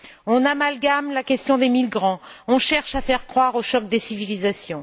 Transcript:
On amalgame la question des migrants. On cherche à faire croire au choc des civilisations.